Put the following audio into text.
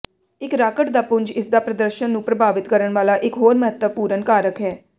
ਇੱਕ ਰਾਕਟ ਦਾ ਪੁੰਜ ਇਸਦਾ ਪ੍ਰਦਰਸ਼ਨ ਨੂੰ ਪ੍ਰਭਾਵਿਤ ਕਰਨ ਵਾਲਾ ਇਕ ਹੋਰ ਮਹੱਤਵਪੂਰਨ ਕਾਰਕ ਹੈ